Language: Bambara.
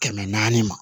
Kɛmɛ naani ma